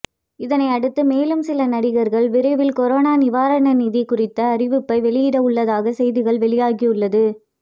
இதனையடுத்து மேலும் சில நடிகர்கள் விரைவில் கொரோனா நிவாரண நிதி குறித்த அறிவிப்பை வெளியிட உள்ளதாக செய்திகள் வெளியாகியுள்ளது